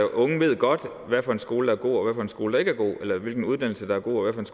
unge ved godt hvad for en skole der er god og hvad for en skole der ikke er god eller hvilken uddannelse der er god